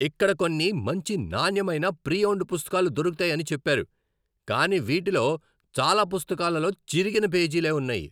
ఇక్కడ కొన్ని మంచి నాణ్యమైన ప్రీ ఓన్డ్ పుస్తకాలు దొరుకుతాయని చెప్పారు, కానీ వీటిలో చాలా పుస్తకాలలో చిరిగిన పేజీలే ఉన్నాయి.